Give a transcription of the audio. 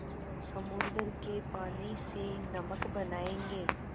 समुद्र के पानी से नमक बनायेंगे